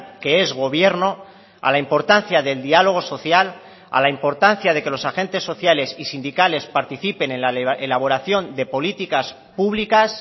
que es gobierno a la importancia del diálogo social a la importancia de que los agentes sociales y sindicales participen en la elaboración de políticas públicas